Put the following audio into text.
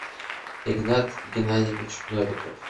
игнат геннадьевич новиков